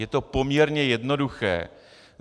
Je to poměrně jednoduché.